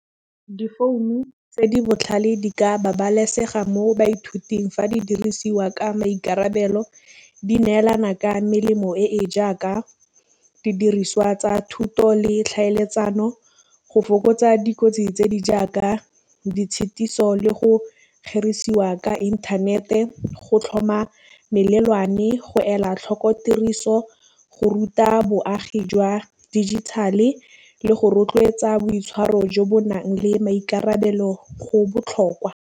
Difounu tse di botlhale di ka babalesega mo baithuting fa di dirisiwa ka maikarabelo, di neelana ka melemo e e jaaka didiriswa tsa thuto le tlhaeletsano, go fokotsa dikotsi tse di jaaka ditshetiso le go kgerisiwa ka inthanete, go tlhoma melelwane, go ela tlhoko tiriso, go ruta boagi jwa digital-e le go rotloetsa boitshwaro jo bo nang le maikarabelo go botlhokwa.